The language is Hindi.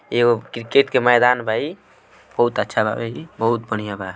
एगो क्रिकेट के मैदान बा ई बहुत अच्छा बा ई बहुत बड़िया बा।